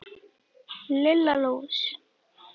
Lilla lús!